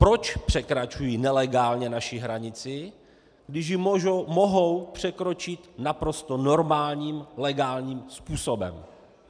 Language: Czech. Proč překračují nelegálně naši hranici, když ji mohou překročit naprosto normálním legálním způsobem?